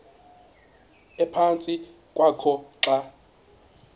ephantsi kwakho xa